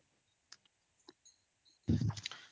noise